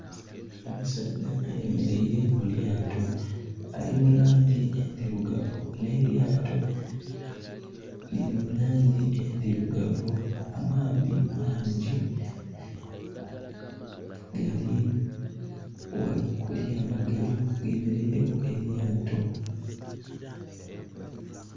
Omusaadha ayemereire mulyaato. Ali mulangi endirugavu. N' elyaato liri mulangi endirugavu. Amaadhi mangi. Lye mereire elyaato